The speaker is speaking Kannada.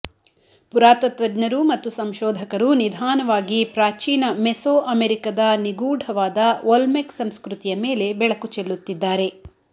ಪುರಾತತ್ತ್ವಜ್ಞರು ಮತ್ತು ಸಂಶೋಧಕರು ನಿಧಾನವಾಗಿ ಪ್ರಾಚೀನ ಮೆಸೊಅಮೆರಿಕದ ನಿಗೂಢವಾದ ಒಲ್ಮೆಕ್ ಸಂಸ್ಕೃತಿಯ ಮೇಲೆ ಬೆಳಕು ಚೆಲ್ಲುತ್ತಿದ್ದಾರೆ